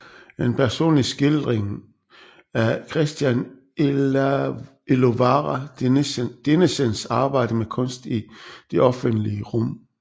En personlig skildring af Christian Elovara Dinesens arbejde med kunst i det offentlige rum